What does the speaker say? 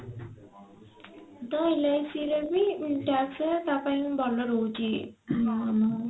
ତ LIC ରେ ବି tax ସହ ତା ପାଇଁ ବି ଭଲ ରହୁଛି